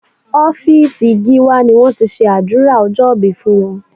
Ọ́fíìsì Gíwá ni wọ́n ti ṣe àdúrà ọjọ́ ìbí fún wọn